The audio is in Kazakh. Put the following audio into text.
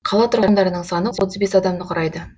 қала тұрғындарының саны отыз бес адамды құрайды